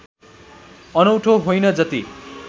अनौठो होइन जति